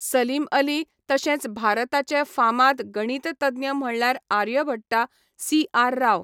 सलीम अली तशेंच भारताचे फामाद गणिततज्ञ म्हणल्यार आर्यभट्टा, सी आर राव